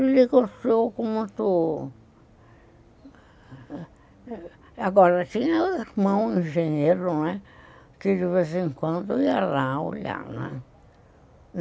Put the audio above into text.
Ele gostou muito... Agora, tinha irmão, engenheiro, não é, que de vez em quando ia lá olhar, né.